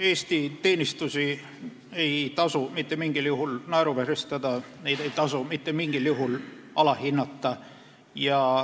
Eesti teenistusi ei tasu mitte mingil juhul naeruvääristada, neid ei tasu mitte mingil juhul alahinnata.